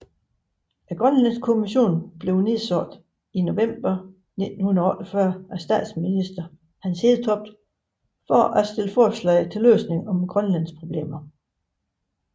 Grønlandskommissionen blev nedsat november 1948 af Statsminister Hans Hedtoft for at stille forslag til løsning af grønlandske problemer